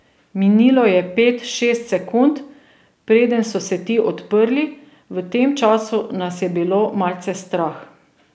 Minilo je pet, šest sekund, preden so se ti odprli, v tem času nas je bilo malce strah.